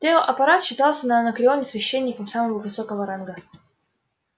тео аппарат считался на анакреоне священником самого высокого ранга